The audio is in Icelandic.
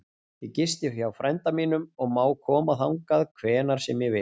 Ég gisti hjá frænda mínum og má koma þangað hvenær sem ég vil.